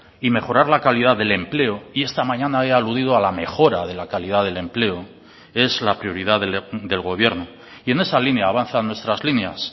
y mejorar la calidad del empleo y esta mañana he aludido a la mejora de la calidad del empleo es la prioridad del gobierno y en esa línea avanzan nuestras líneas